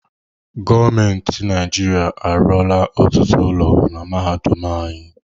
Gọọmenti Naịjirịa arụọla ọtụtụ ụlọ na mahadum anyị.